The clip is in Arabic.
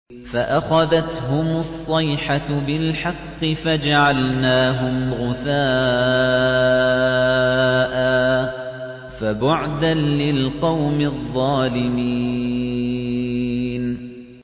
فَأَخَذَتْهُمُ الصَّيْحَةُ بِالْحَقِّ فَجَعَلْنَاهُمْ غُثَاءً ۚ فَبُعْدًا لِّلْقَوْمِ الظَّالِمِينَ